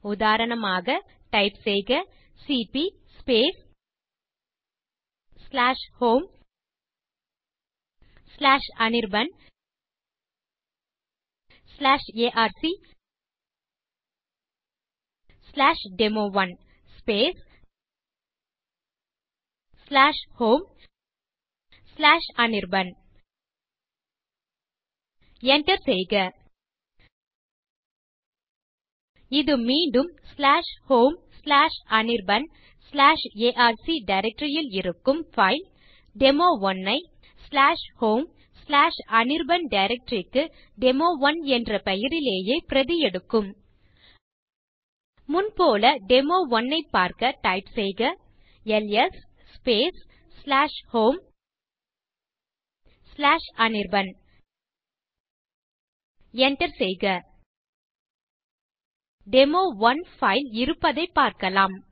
உதாரணமாக டைப் செய்க cp homeanirbanarcdemo1 homeanirban enter செய்க இது மீண்டும் homeanirbanarc டைரக்டரி ல் இருக்கும் பைல் டெமோ1 ஐ homeanirban டைரக்டரி க்கு டெமோ1 என்ற பெயரிலேயே பிரதி எடுக்கும் முன் போல டெமோ1 ஐப் பார்க்க டைப் செய்க எல்எஸ் homeanirban enter செய்க டெமோ1 பைல் இருப்பதைப் பார்க்கலாம்